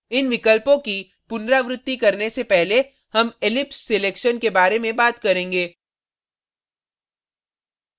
इन विकल्पों की पुनरावृत्ति करने से पहले हम ellipse selection के बारे में बात करेंगे